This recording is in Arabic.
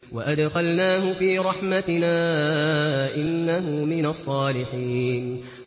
وَأَدْخَلْنَاهُ فِي رَحْمَتِنَا ۖ إِنَّهُ مِنَ الصَّالِحِينَ